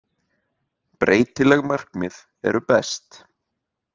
Breytileg markmið eru best!